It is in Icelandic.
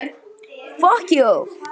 Guð hjálpi þér barn!